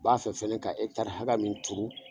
N b'a fɛ fɛnɛ ka ekitari hakɛ min tuuru